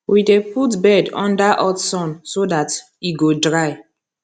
we dey put bed under hot sun so dat e go dry